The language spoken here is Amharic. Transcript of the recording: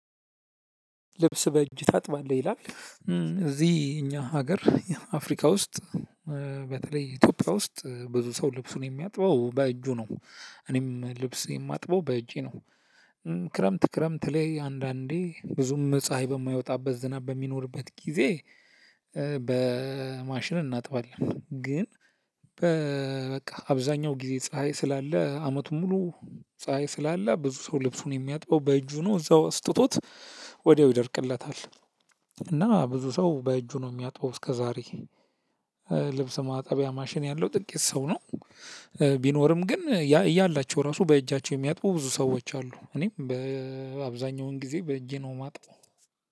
ልብስ በእጅ ታጥባለህ? ይላል እዚህ እኛ ሀገር አፍሪካ ውስጥ በተለይ ኢትዮጵያ ውስጥ ብዙ ሰው ልብሱን የሚያጥበው በእጁ ነው። እኔም ልብሴን የማጥበው በእጄ ነው። ክረምት ክረምት ላይ አንዳንዴ ብዙም ፀሀይ ይ በማይወጣበት ዝናብ በሚኖርበት ጊዜ በማሽን እናጥባለን ግን በበቃ አብዛኛው ጊዜ ፀሀይ ስላለ አመቱን ሙሉ ፀሀይ ስላለ ብዙ ሰው ልብሱን የሚያጥበው በእጁ ነው እዛው አስጥቶት ወዲያው ይደርቅለታል እና ብዙ ሰው በእጁ ነው የሚያጥበው እስከዛሬ ልብስ ማጠቢያ ማሽን ያለው ጥቂት ሰው ነው ቢኖርም ግን እያላቸው ራሱ በእጃቸው የሚያጥቡ ብዙ ሰዎች አሉ እኔም በአብዛኛውን ጊዜ በእጄ ነው የማጣው